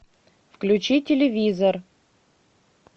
включи телевизор